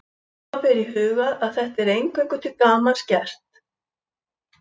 Hafa ber í huga að þetta er eingöngu til gamans gert.